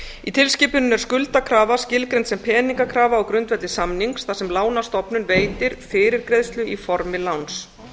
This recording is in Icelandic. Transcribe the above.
í tilskipuninni er skuldakrafa skilgreind sem peningakrafa á grundvelli samnings þar sem lánastofnun veitir fyrirgreiðslu í formi láns